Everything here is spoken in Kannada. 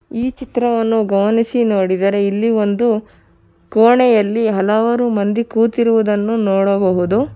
ಈ ಚಿತ್ರವನ್ನು ಗಮನಿಸಿ ನೋಡಿದರೆ ಇಲ್ಲಿ ಒಂದು ಕೋಣೆಯಲ್ಲಿ ಹಲವಾರು ಮಂದಿ ಕೂತಿರುವುದನ್ನು ನೋಡಬಹುದು.